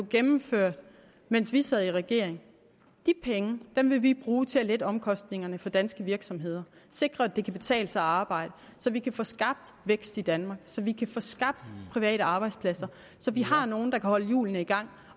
gennemført mens vi sad i regering vil vi bruge til at lette omkostningerne for danske virksomheder sikre at det kan betale sig at arbejde så vi kan få skabt vækst i danmark så vi kan få skabt private arbejdspladser så vi har nogen der kan holde hjulene i gang